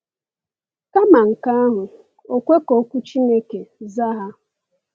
Kama nke ahụ, o kwe ka Okwu Chineke zaa ha.